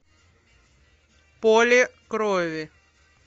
поле крови